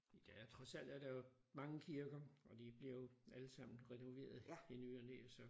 I dag trods alt er der jo mange kirker og de bliver jo allesammen renoveret i ny og næ så